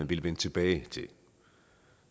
ville vende tilbage til